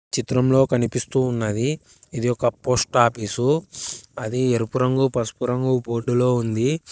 చిత్రంలో కనిపిస్తూ ఉన్నది ఇది ఒక పోస్ట్ ఆఫీసు అది ఎరుపు రంగు పసుపు రంగు బోర్డులో ఉంది.